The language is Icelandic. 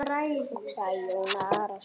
hugsaði Jón Arason.